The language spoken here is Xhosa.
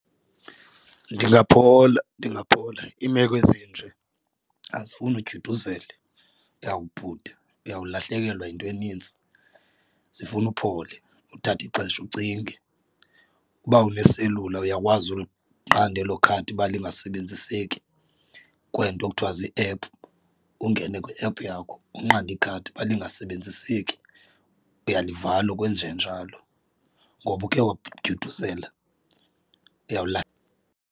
Ndingaphola ndingaphola. Iimeko ezinje azifuni udyuduzele uyawubhuda uyawulahlekelwa yinto enintsi, zifuna uphole uthathe ixesha ucinge. Uba une-cellular uyakwazi uliqanda elo khadi uba lingasebenziseki kweento kuthiwa zii-app ungene kwi-app yakho unqande ikhadi uba lingasebenziseki, uyalivala ukwenjenjalo ngoba ukhe wadyuduzela .